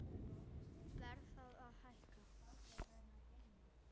Verð þarf að hækka